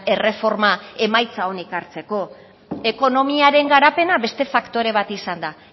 erreforma emaitza ona ekartzeko ekonomiaren garapena beste faktore bat izan da